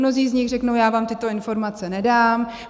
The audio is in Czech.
Mnozí z nich řeknou, já vám tyto informace nedám.